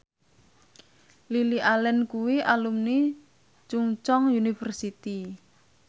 Lily Allen kuwi alumni Chungceong University